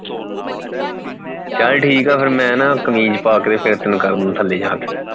ਚੱਲ ਠੀਕ ਹੈ ਫੇਰ ਮੈਂ ਨਾ ਕਮੀਜ਼ ਪਾ ਕੇ ਫੇਰ ਤੈਨੂੰ ਕਰਦਾ ਥੱਲੇ ਜਾਕੇ